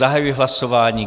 Zahajuji hlasování.